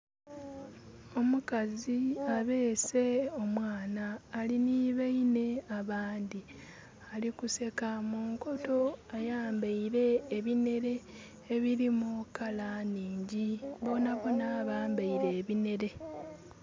Omukazi abeese omwana ali ni bainhe abandhi ali kuseka munkoto ayambaile ebinhere ebirimu kala nnhingi bonaboona bambaire ebinere.